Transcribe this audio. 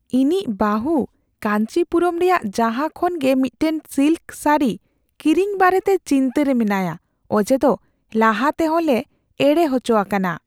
ᱤᱧᱤᱡ ᱵᱟᱹᱦᱩ ᱠᱟᱹᱧᱪᱤ ᱯᱩᱨᱚᱢ ᱨᱮᱭᱟᱜ ᱡᱟᱦᱟᱸ ᱠᱷᱚᱱ ᱜᱮ ᱢᱤᱫᱴᱟᱝ ᱥᱤᱞᱠ ᱥᱟᱹᱲᱤ ᱠᱤᱨᱤᱧ ᱵᱟᱨᱮᱛᱮ ᱪᱤᱱᱛᱟᱹ ᱨᱮ ᱢᱮᱱᱟᱭᱼᱟ ᱚᱡᱮᱫᱚ ᱞᱟᱦᱟᱛᱮᱦᱚᱸ ᱞᱮ ᱮᱲᱮ ᱦᱚᱪᱚ ᱟᱠᱟᱱᱟ ᱾